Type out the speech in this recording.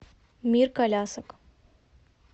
мир колясок